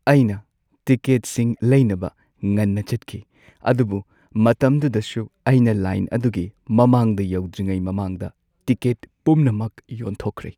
ꯑꯩꯅ ꯇꯤꯀꯦꯠꯁꯤꯡ ꯂꯩꯅꯕ ꯉꯟꯅ ꯆꯠꯈꯤ ꯑꯗꯨꯕꯨ ꯃꯇꯝꯗꯨꯗꯁꯨ ꯑꯩꯅ ꯂꯥꯏꯟ ꯑꯗꯨꯒꯤ ꯃꯃꯥꯡꯗ ꯌꯧꯗ꯭ꯔꯤꯉꯩ ꯃꯃꯥꯡꯗ ꯇꯤꯀꯦꯠ ꯄꯨꯝꯅꯃꯛ ꯌꯣꯟꯊꯣꯛꯈ꯭ꯔꯦ꯫